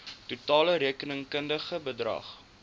totale rekenkundige bedrag